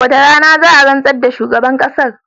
Wacce rana za a rantsar da shugaban kasan?